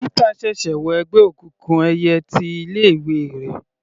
Pítà ṣẹ̀ṣẹ̀ wọ ẹgbẹ́ òkùnkùn ẹyẹ ti ilé ìwé rẹ̀.